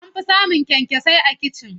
An fi samun kyankyasai a kicin.